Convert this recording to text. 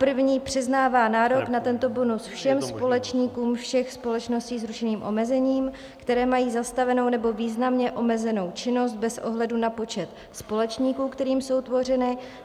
První přiznává nárok na tento bonus všem společníkům všech společností s ručením omezeným, které mají zastavenou nebo významně omezenou činnost bez ohledu na počet společníků, kterými jsou tvořeny.